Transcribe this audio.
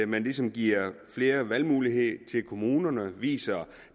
man ligesom giver flere valgmuligheder til kommunerne og viser